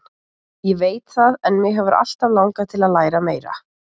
Ég veit það en mig hefur alltaf langað til að læra meira.